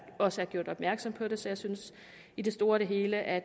også er gjort opmærksom på det så jeg synes i det store hele at